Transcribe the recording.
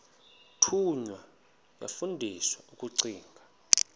thunywa yafundiswa ukugcina